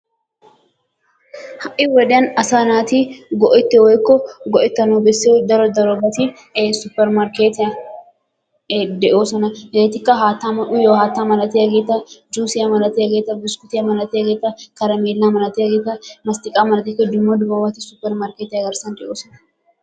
ha'i wodiyan asaa naati go'ettiyo woykko go'ettanawu bessiyo daro darobati ee supermarkeetiyan ee de'oosona. hegeetikka haattanne uyiyo haattaa malattiyageti, juusiya malattiyageti buskkutiya malattiyageta, karameela malattiyageta mastiqaa malattiyageta dumma dummabati supermarkeettiy garsan de'oosona